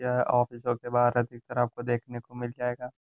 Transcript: यह ऑफिसों के बाहर अधिकतर आपको देखने को मिल जायेगा।